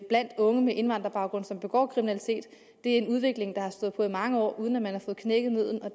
blandt unge med indvandrerbaggrund som begår kriminalitet det er en udvikling der har stået på i mange år uden at man har fået knækket nødden og